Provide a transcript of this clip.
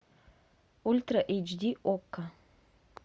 ультра эйч ди окко